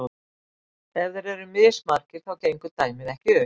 Ef þeir eru mismargir þá gengur dæmið ekki upp.